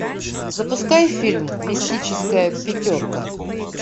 запускай фильм мистическая пятерка